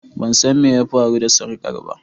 Ban san me ya faru da sarkar ba.